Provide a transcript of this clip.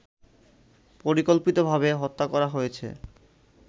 পরিকল্পিতভাবে হত্যা করা হয়েছে